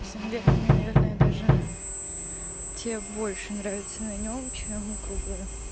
на самом деле мне наверное даже те больше нравятся на нём чем круглые